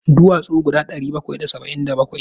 Duwatsu guda ɗari bakwai da saba'in da bakwai.